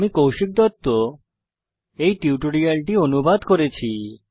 আমি কৌশিক দত্ত এই টিউটোরিয়ালটি অনুবাদ করেছি